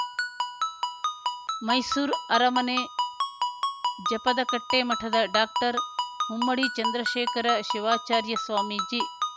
ಮೈಸೂರು ಅರಮನೆ ಜಪದಕಟ್ಟೆಮಠದ ಡಾಕ್ಟರ್ ಮುಮ್ಮಡಿ ಚಂದ್ರಶೇಖರ ಶಿವಾಚಾರ್ಯ ಸ್ವಾಮೀಜಿ